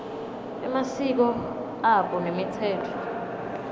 emasiko abo nemitsetfo